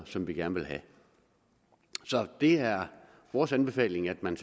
som vi gerne vil have det er vores anbefaling at man